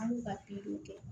An b'u ka pikiri de kɛ